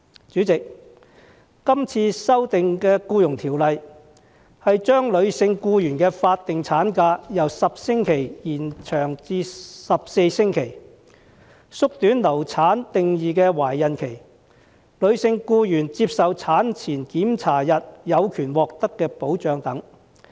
主席，這次修訂的《僱傭條例》是將女性僱員的法定產假由10星期延長至14星期、縮短流產定義的懷孕期，以及女性僱員接受產前檢查日有權獲得的保障等。